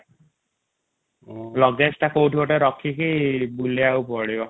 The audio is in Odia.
ଲୁଗଏଜ ଟା କୋଉଠି ଗୋଟେ ରଖିକି ବୁଲିବାକୁ ପଡିବ |